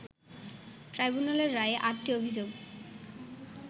ট্রাইব্যুনালের রায়ে আটটি অভিযোগ